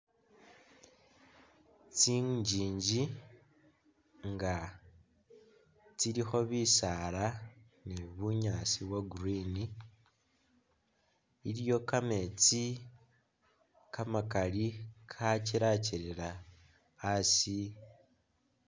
Tsinjinji nga tsilikho bisaala ni bunyaasi bwo' green, iliwo kameetsi kamakaali kakyelakyela asi